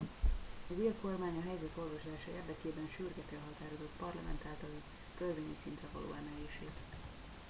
az ír kormány a helyzet orvoslása érdekében sürgeti a határozat parlament általi törvényi szintre való emelését